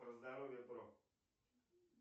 про здоровье бро